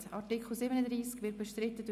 wir stimmen darüber ab.